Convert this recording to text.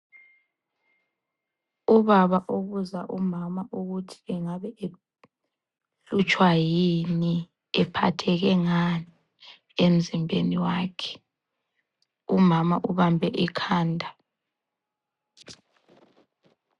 Ubaba obuza umama ukuthi engabe ehlutshwa yini ephatheke ngani emzimbeni wakhe. Umama ubambe ikhanda.